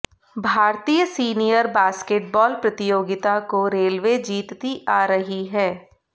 भारतीय senior basketball प्रतियोगिता को रेलवे जीतती आ रही है